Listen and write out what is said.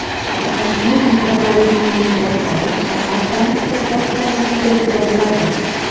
Toshkent metropolitenini boshqarish shahar transport boshqarmasiga o‘tkaziladi.